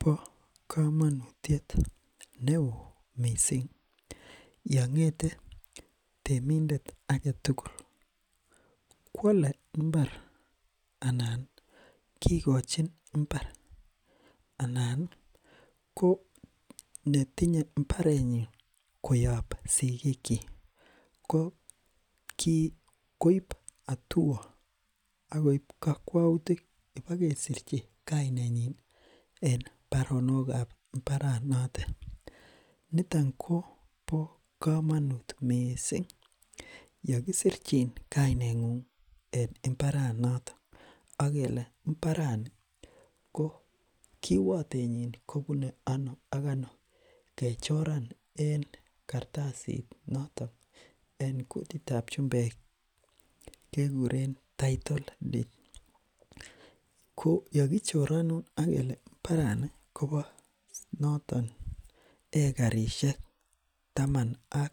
bo komonutiet neoo mising yongete temindet aketugul kwole mbar anani kikochin mbar anani ko netinya mbarenyin koyob sigikyi koib atua akoib kokwoutik ibo kesirchi kainenyin en baronokab mbaranotok niton kobo komonut mising yekisirchin kainengung en mbaranotok akele mbarani ko kiwotenyin kobune ano ak ano kechoran en kartsit notok en kutitab chumbeki kekuren[tittle deed] ko yokichoronwok ak kele mbarani kobo noton ekarishek taman ak